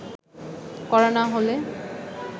করা না হলে